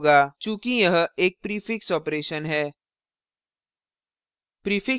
चूँकि यह एक prefix operation है